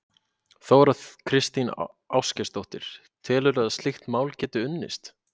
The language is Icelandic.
Þóra Kristín Ásgeirsdóttir: Telurðu að slíkt mál gæti unnist?